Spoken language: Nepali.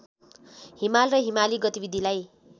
हिमाल र हिमाली गतिविधिलाई